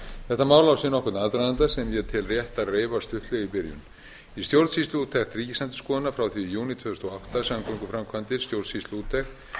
þetta mál á sér nokkurn aðdraganda sem ég tel rétt að reifa stuttlega í byrjun í stjórnsýsluúttekt ríkisendurskoðunar frá því í júní tvö þúsund og átta samgönguframkvæmdir stjórnsýsluúttekt